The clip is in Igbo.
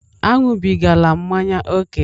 Aṅụbigala mmanya ókè!